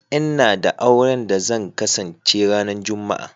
N'na da auren da zan kasance ran Juma'a.